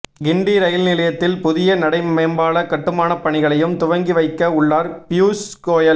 கிண்டி rail நிலையத்தில் புதிய நடை மேம்பால கட்டுமானப் பணிகளையும் துவங்கி வைக்க உள்ளார் பியூஷ் கோயல்